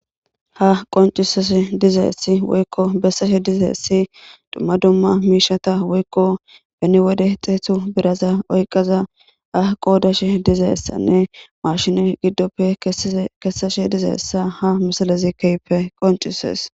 Ha qoncisese dizaessi woykko besseshe dizayessi dumma dumma miishata woykko beni wode xeetu biraza oyqaza a qoodashe dizayessanne marshine giddoppe kessashe dizayessa ha misalezi keyppe qoncisees.